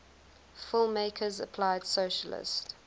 filmmakers applied socialist